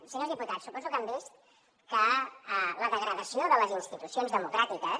senyors diputats suposo que han vist que la degradació de les institucions democràtiques